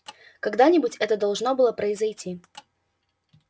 когда-нибудь это должно было произойти